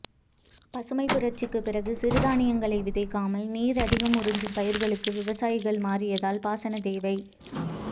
பசுமைப் புரட்சிக்கு பிறகு சிறு தானியங்களை விதைக்காமல் நீர் அதிகம் உறிஞ்சும் பயிர்களுக்கு விவசாயிகள் மாறியதால் பாசனத்தேவை